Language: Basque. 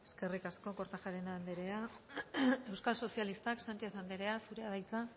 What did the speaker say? eskerrik asko kortajarena anderea euskal sozialistak sánchez anderea zurea da hitza